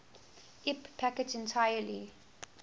ip packets entirely